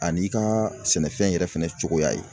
An'i ka sɛnɛfɛn yɛrɛ fɛnɛ cogoya ye